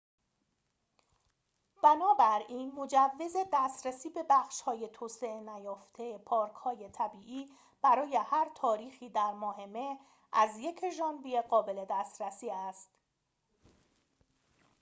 بنابراین مجوز دسترسی به بخش‌های توسعه نیافته پارک‌های طبیعی برای هر تاریخی در ماه مه از ۱ ژانویه قابل دسترسی است